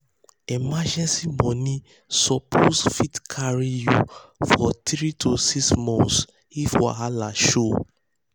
emergency money suppose fit um carry you for 3 to 6 months if wahala show.